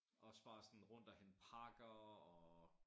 Også bare sådan rundt og hente pakker og